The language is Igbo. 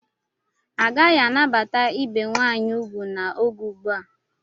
Agaghị anabata ibe nwaanyị ugwu n'oge ugbu a.